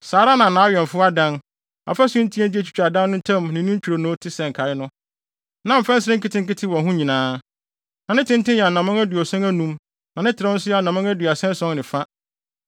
saa ara na nʼawɛmfo adan, afasu ntiantia a etwitwa adan no ntam ne ne ntwironoo te sɛ nkae no, na mfɛnsere nketenkete wɔ ho nyinaa. Na ne tenten yɛ anammɔn aduɔson anum na ne trɛw nso yɛ anammɔn aduasa ason ne fa.